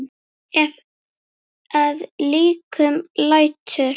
Ef að líkum lætur.